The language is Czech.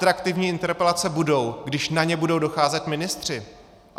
Atraktivní interpelace budou, když na ně budou docházet ministři.